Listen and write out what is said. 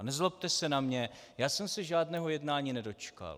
A nezlobte se na mě, já jsem se žádného jednání nedočkal.